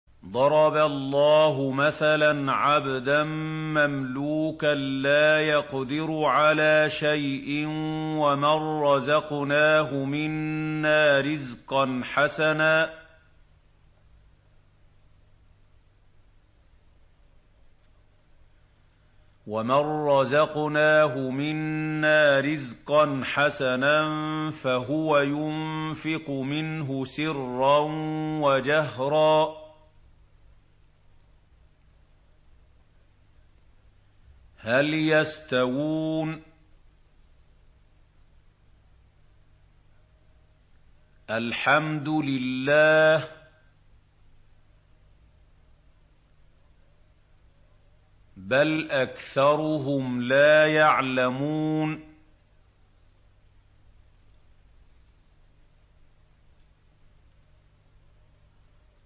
۞ ضَرَبَ اللَّهُ مَثَلًا عَبْدًا مَّمْلُوكًا لَّا يَقْدِرُ عَلَىٰ شَيْءٍ وَمَن رَّزَقْنَاهُ مِنَّا رِزْقًا حَسَنًا فَهُوَ يُنفِقُ مِنْهُ سِرًّا وَجَهْرًا ۖ هَلْ يَسْتَوُونَ ۚ الْحَمْدُ لِلَّهِ ۚ بَلْ أَكْثَرُهُمْ لَا يَعْلَمُونَ